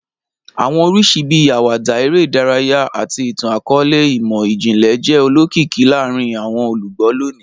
Awọn oriṣi bii awada, ere idaraya, ati itan-akọọlẹ imọ-jinlẹ jẹ olokiki laarin awọn olugbo loni